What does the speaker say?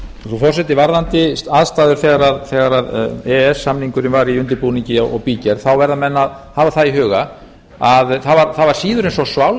frú forseti varðandi aðstæður þegar e e s samningurinn var í undirbúningi og bígerð þá verða menn að hafa það í huga að það var síður en svo